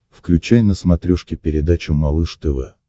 включай на смотрешке передачу малыш тв